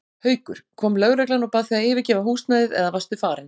Haukur: Kom lögreglan og bað þig að yfirgefa húsnæðið eða varstu farin?